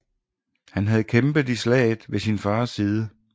Han havde kæmpet i slaget ved sin fars side